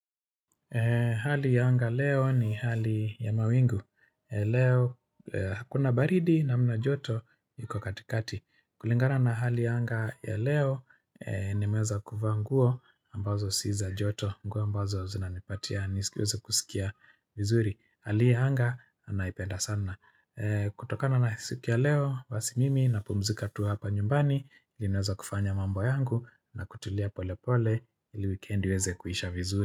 Hali ya anga leo ni hali ya mawingu. Leo hakuna baridi namna joto iko katikati. Kulingana na hali ya anga ya leo nimeweza kuvaa nguo ambazo si za joto. Nguo ambazo zinanipatia nisikiweze kusikia vizuri. Hali ya anga anaipenda sana. Kutokana na siku ya leo basi mimi napumzika tu hapa nyumbani. Ninaweza kufanya mambo yangu na kutulia pole pole ili wikendi iweze kuisha vizuri.